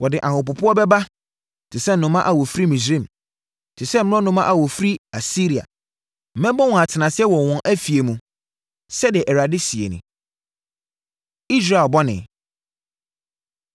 Wɔde ahopopoɔ bɛba te sɛ nnomaa a wɔfiri Misraim te sɛ mmorɔnoma a wɔfiri Asiria. Mɛbɔ wɔn atenaseɛ wɔ wɔn afie mu,” sɛdeɛ Awurade seɛ nie. Israel Bɔne